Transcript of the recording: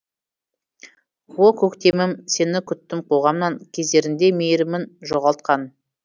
о көктемім сені күттім қоғамнан кездерінде мейірімін жоғалтқан